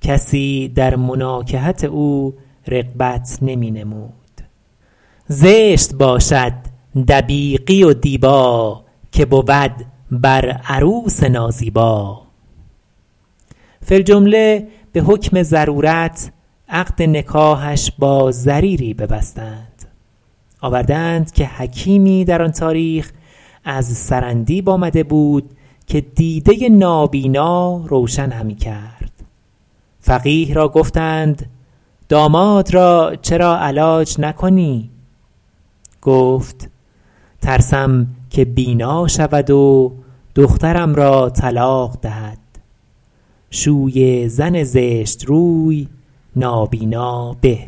کسی در مناکحت او رغبت نمی نمود زشت باشد دبیقی و دیبا که بود بر عروس نازیبا فی الجمله به حکم ضرورت عقد نکاحش با ضریری ببستند آورده اند که حکیمی در آن تاریخ از سرندیب آمده بود که دیده نابینا روشن همی کرد فقیه را گفتند داماد را چرا علاج نکنی گفت ترسم که بینا شود و دخترم را طلاق دهد شوی زن زشت روی نابینا به